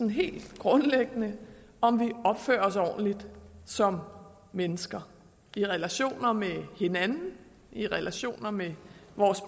helt grundlæggende opfører os ordentligt som mennesker i relationer med hinanden i relationer med vores